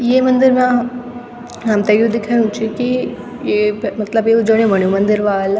ये मंदिर मा हमथे यु दिखेणु च की ये पे मतलब यु जन्युं-मन्युं मंदिर वाल।